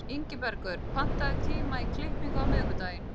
Ingibergur, pantaðu tíma í klippingu á miðvikudaginn.